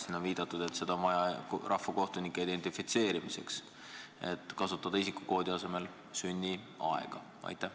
Siin on viidatud, et isikukoodi on vaja rahvakohtunike identifitseerimiseks, aga ehk saaks isikukoodi asemel kasutada sünniaega?